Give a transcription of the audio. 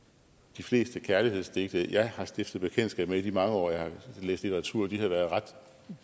de fleste kærlighedsdigte jeg har stiftet bekendtskab med i de mange år jeg har læst litteratur har været ret